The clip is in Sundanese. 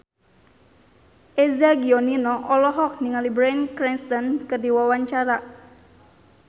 Eza Gionino olohok ningali Bryan Cranston keur diwawancara